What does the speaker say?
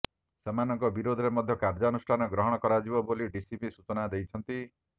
ସେମାନଙ୍କ ବିରୋଧରେ ମଧ୍ୟ କାର୍ୟ୍ୟାନୁଷ୍ଠାନ ଗ୍ରହଣ କରାଯିବ ବୋଲି ଡିସିପି ସୂଚନା ଦେଇଛନ୍ତି